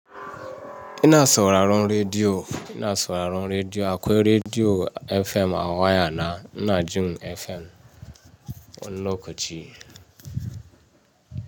Ina sauraron rediyo, ina sauraron rediyo, akwai rediyo FM a waya na, ina jin FM wanni lokaci.